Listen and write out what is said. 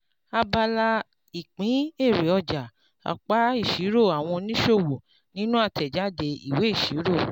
abala ìpín èrè ọjà apá ìṣirò́ àwọn oníṣòwò nínú àtẹ̀jáde ìwé ìṣirò.